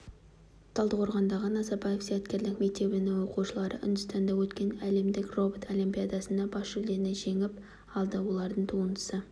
талдықорғандағы назарбаев зияткерлік мектебінің оқушылары үндістанда өткен әлемдік робот олимпиадасында бас жүлдені жеңіп алды олардың туындысы